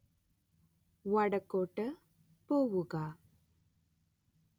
വടക്കോട്ട് പോവുക